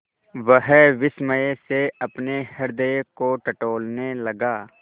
वह विस्मय से अपने हृदय को टटोलने लगा